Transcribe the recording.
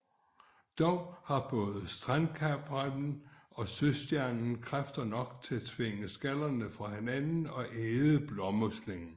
Dog har både strandkrabben og søstjernen kræfter nok til at tvinge skallerne fra hinanden og æde blåmuslingen